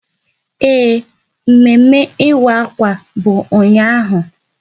Ee, mme ịwa akwa bụ ụnyaahụ